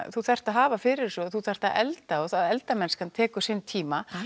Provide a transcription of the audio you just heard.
þú þarft að hafa fyrir þessu þú þarft að elda og eldamennskan tekur sinn tíma